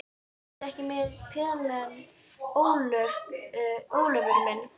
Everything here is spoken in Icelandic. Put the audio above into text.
Ertu ekki með pelann, Ólafur minn?